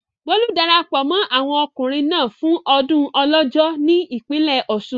Bólú darapọ̀ mọ́ àwọn ọkùnrin náà fún ọdún Ọlọ́jọ́ ní ìpínlẹ̀ Ọ̀ṣun.